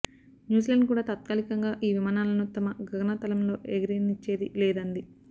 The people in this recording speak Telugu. న్యూజిలాండ్ కూడా తాత్కాలికంగా ఈ విమానాలను తమ గగనతలంలో ఎగరనిచ్చేది లేదంది